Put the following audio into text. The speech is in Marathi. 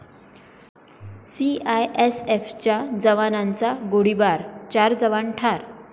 सीआयएसएफच्या जवानाचा गोळीबार, चार जवान ठार